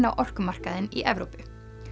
á orkumarkaðinn í Evrópu